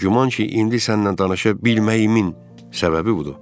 Güman ki, indi sənnən danışa bilməyimin səbəbi budur.